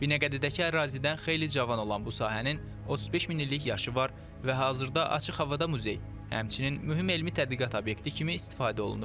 Binəqədidəki ərazidən xeyli cavan olan bu sahənin 35 min illik yaşı var və hazırda açıq havada muzey, həmçinin mühüm elmi tədqiqat obyekti kimi istifadə olunur.